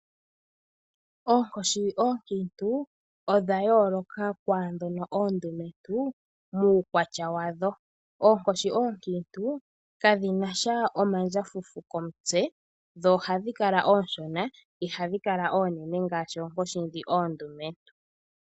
Oonkoshi oonkiintu odha yooloka kwaandhono oondumentu muukwatya wadho. Oonkoshi oonkiintu kadhinasha omagwafufu komutse dho ohadhi kala oonshona ihadhi kala oonene ngaashi oonkoshi ndhi oondumentu.